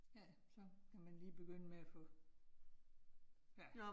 Ja, så kan man lige begynde med at få. Ja